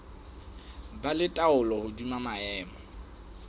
ba le taolo hodima maemo